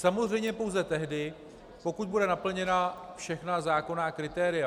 Samozřejmě pouze tehdy, pokud budou naplněna všechna zákonná kritéria.